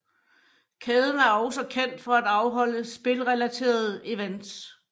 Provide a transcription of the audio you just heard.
Kæden er også kendt for at afholde spilrelaterede events